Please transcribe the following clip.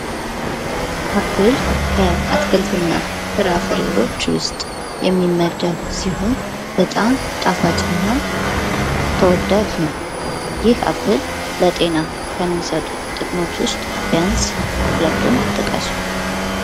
አፕል ከአትክልትና ፍራፍሬዎች ውስጥ የሚመደብ ሲሆን፤ በጣም ጣፋጭ እና ተወዳጅ ነው። ይህ አፕል ለጤና ከሚሰጡት ጥቅሞች ውስጥ ቢያንስ ሁለቱን ጥቀሱ።